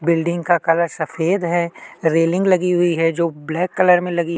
building का colour सफेद है रेलिंग लगी हुई है जो की ब्लैक कलर मे लगी--